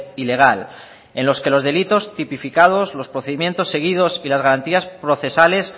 ilegal en los que los delitos tipificados los procedimientos seguidos y las garantías procesales